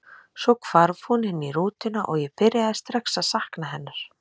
Svo hvarf hún inn í rútuna og ég byrjaði strax að sakna hennar.